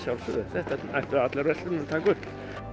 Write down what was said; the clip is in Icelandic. þetta ættu allar verslanir að taka upp